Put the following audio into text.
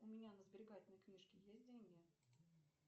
у меня на сберегательной книжке есть деньги